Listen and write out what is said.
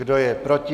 Kdo je proti?